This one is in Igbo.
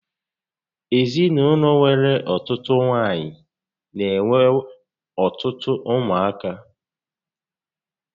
Ezinaụlọ nwere ọtụtụ nwaanyị n'enwe ọtụtụ ụmụ aka